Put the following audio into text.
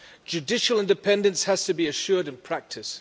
Judicial independence has to be assured in practice.